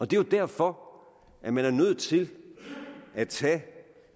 det er jo derfor man er nødt til at tage